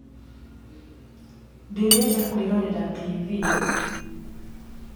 Ndĩrenda kwĩrorera tibii